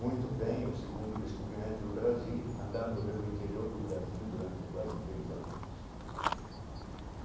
Muito bem, é o segundo descobrimento do Brasil, andando pelo interior do Brasil durante quase três anos.